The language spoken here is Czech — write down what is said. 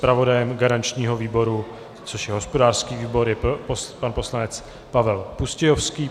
Zpravodajem garančního výboru, což je hospodářský výbor, je pan poslanec Pavel Pustějovský.